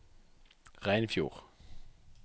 Reinfjord